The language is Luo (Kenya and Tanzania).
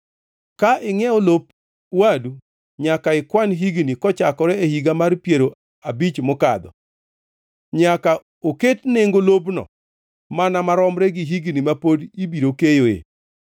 Ka ingʼiewo lop wadu nyaka ikwan higni kochakore e higa mar piero abich mokadho. Nyaka oket nengo lopno mana maromre gi higni ma pod ibiro keyoe.